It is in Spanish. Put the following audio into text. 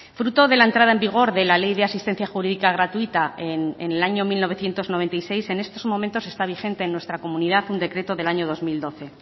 fruto de la entrada en vigor de la ley de asistencia jurídica gratuita en el año mil novecientos noventa y seis en estos momentos está vigente en nuestra comunidad un decreto del año dos mil doce